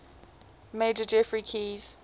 major geoffrey keyes